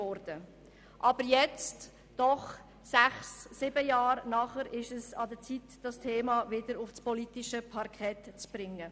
Aber nun sind wir sechs oder sieben Jahre später, und es ist an der Zeit, dieses Thema wieder auf das politische Parkett zu bringen.